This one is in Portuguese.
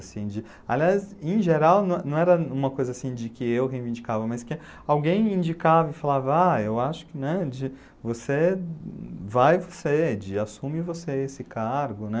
Assim de... Aliás, em geral, não não era uma coisa assim de que eu reivindicava, mas que alguém me indicava e falava, ah, eu acho que, né, de você, vai ser, de assume você esse cargo, né?